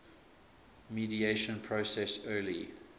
mediation process early